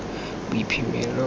boiphemelo